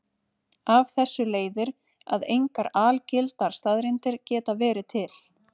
Af þessu leiðir að engar algildar staðreyndir geta verið til.